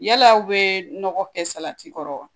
Yala u be nɔgɔ kɛ salati kɔrɔ wa